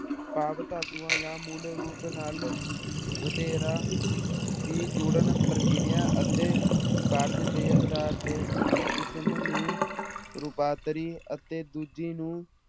ਭਾਵ ਧਾਤੂਆਂ ਜਾਂ ਮੂਲ ਰੂਪ ਨਾਲ ਵਧੇਰਾ ਦੀ ਜੁੜਨ ਪ੍ਰਕਿਰਿਆ ਅਤੇ ਕਾਰਜ ਦੇ ਆਧਾਰ ਤੇ ਇੱਕ ਕਿਸਮ ਨੂੰ ਰੂਪਾਂਤਰੀ ਅਤੇ ਦੂਜੀ ਨੂੰ